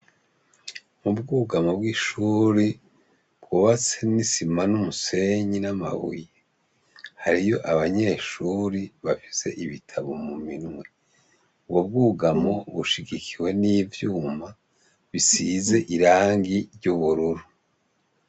Ubwugamwo bw' ishuri bwubatswe n'isima n' umusenyi n' amabuye hariyo abanyeshure bafise ibitabo muminwe ubwo bwugamo bushigikiwe n' ivyuma bisize irangi ry' ubururu.